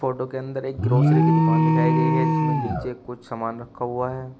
के अंदर एक ग्रोसरी की दुकान दिखाई गई है जिसमें नीचे कुछ सामान रखा हुआ है।